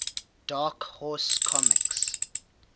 dark horse comics